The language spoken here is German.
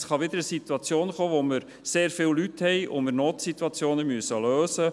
Es kann wieder zu einer Situation kommen, wo wir sehr viel Leute haben und Notsituationen lösen müssen.